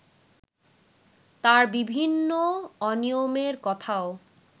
তার বিভিন্ন অনিয়মের কথাও